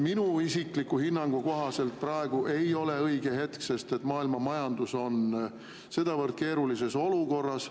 Minu isikliku hinnangu kohaselt praegu ei ole õige hetk, sest maailmamajandus on sedavõrd keerulises olukorras.